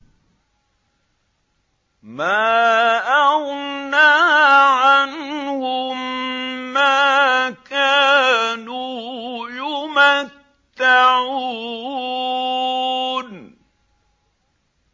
مَا أَغْنَىٰ عَنْهُم مَّا كَانُوا يُمَتَّعُونَ